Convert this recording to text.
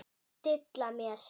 Dilla mér.